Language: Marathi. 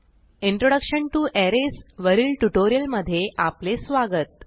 इंट्रोडक्शन टीओ अरेज वरील ट्युटोरियलमधे आपले स्वागत